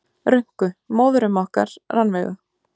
Rönku, móðurömmu okkar, Rannveigu.